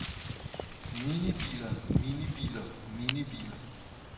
minibiler minibiler minibiler